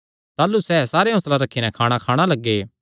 ताह़लू सैह़ सारे हौंसला रखी नैं खाणाखाणा लग्गे